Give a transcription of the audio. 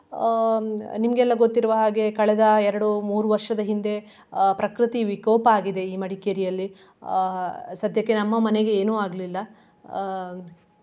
ಅಹ್ ನಿಮ್ಗೆಲ್ಲ ಗೊತ್ತಿರುವ ಹಾಗೆ ಕಳೆದ ಎರಡು ಮೂರು ವರ್ಷದ ಹಿಂದೆ ಅಹ್ ಪ್ರಕೃತಿ ವಿಕೋಪ ಆಗಿದೆ ಈ ಮಡಿಕೇರಿಯಲ್ಲಿ ಅಹ್ ಸದ್ಯಕ್ಕೆ ನಮ್ಮ ಮನೆಗೆ ಏನು ಆಗ್ಲಿಲ್ಲಾ ಆಹ್.